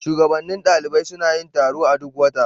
Shugabannin ɗalibai suna yin taro a duk wata.